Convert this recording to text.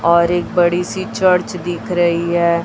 और एक बड़ी सी चर्च दिख रही हैं।